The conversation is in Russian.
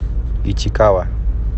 итикава